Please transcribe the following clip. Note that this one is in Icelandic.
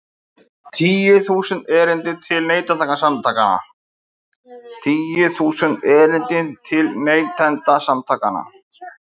Tíu þúsund erindi til Neytendasamtakanna